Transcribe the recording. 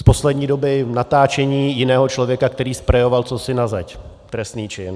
Z poslední doby, natáčení jiného člověka, který sprejoval cosi na zeď - trestný čin.